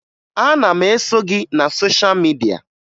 Ana m eso gị na sosha midia